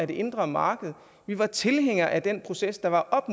det indre marked vi var tilhængere af den proces der var op